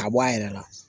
Ka bɔ a yɛrɛ la